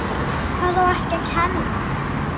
Hvað á ekki að kenna?